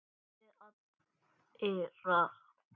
Báðir aðilar.